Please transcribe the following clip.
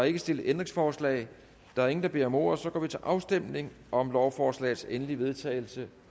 ikke stillet ændringsforslag der er ingen der beder om ordet og så går vi til afstemning om lovforslagets endelige vedtagelse